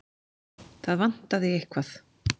Það vantaði eitthvað.